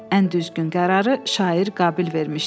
Ən düzgün qərarı şair Qabil vermişdi.